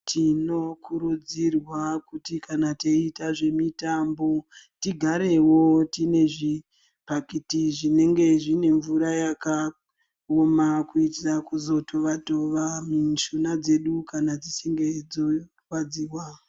Tinokurudzirwa kuti kana teiita zvemitambo, tigarewo tine zvipakiti zvinenge zvine mvura yakaoma. Kuitira kuzotova-tova mishuna dzedu kana dzichinge dzorwadziwa.